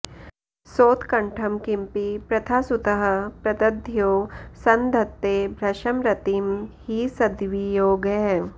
सोत्कण्ठं किमपि पृथासुतः प्रदध्यौ संधत्ते भृशमरतिं हि सद्वियोगः